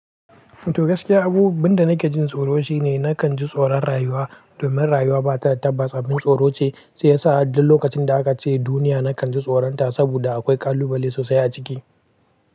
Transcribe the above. To gaskiya abu, abin da nake jin tsoro shine na kan ji tsoron rayuwa domin rayuwa ba ta da tabbas. Abin tsoro ce shi ya sa duk lokacin da aka ce duniya na kan ji tsoronta saboda akwai ƙalubale sosai a ciki.